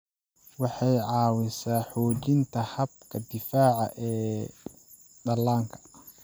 Waxay caawisaa xoojinta habka difaaca ee dhallaanka.